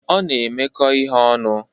Ọ na-emekọ ihe ọnụ.